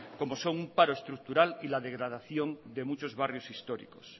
como son un paro estructural y la degradación de muchos barrios históricos